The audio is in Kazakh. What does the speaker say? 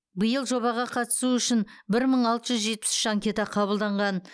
биыл жобаға қатысу үшін бір мың алты жүз жетпіс үш анкета қабылданған